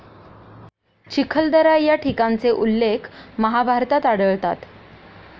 चिखलदरा या ठिकाणचे उल्लेख महाभारतात आढळतात.